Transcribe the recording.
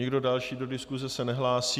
Nikdo další do diskuse se nehlásí.